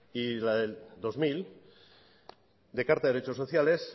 y la del dos mil de carta de derechos sociales